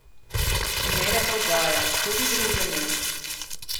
Ne le prodaja, tudi druženje.